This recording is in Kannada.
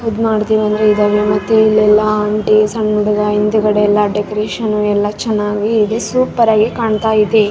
ಅದು ಮಾಡ್ತೀವಿ ಅಂದ್ರೆ ಬಿಡಲ್ಲ ಮತ್ತೆ ಇಲ್ಲೆಲ್ಲ ಆಂಟಿ ಸಣ್ಣ ಹುಡುಗ ಹಿಂದುಗಡೆ ಎಲ್ಲ ಡೆಕೋರೇಷನ್ ಎಲ್ಲ ಚೆನ್ನಾಗಿ ಸೂಪರ್ ಆಗಿ ಕಾಣ್ತಾ ಇದೆ.